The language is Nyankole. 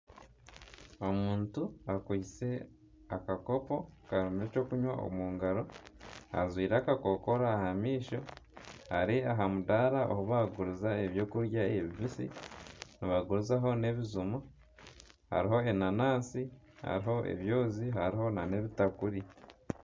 Omuntu akwiitse akakopo karimu ekyokunwa omungaro, ajwaire akakokoro aha maisho, ari aha mudaara ahi bari kuguriza ebyokurya ebibisi. Ni bagurizaho n'ebijuma, hariho enanasi hariho ebyoozi nana ebitakuri.